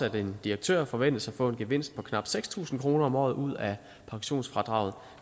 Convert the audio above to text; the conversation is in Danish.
at en direktør forventes at få en gevinst på knap seks tusind kroner om året ud af pensionsfradraget